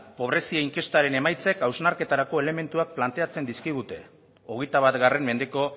pobrezia inkestaren emaitzek hausnarketarako elementuak planteatzen dizkigute hogeita bat mendeko